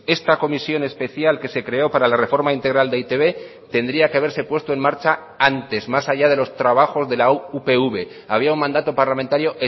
esta comisión especial que se creó para la reforma integral de e i te be tendría que haberse puesto en marcha antes más allá de los trabajos de la upv había un mandato parlamentario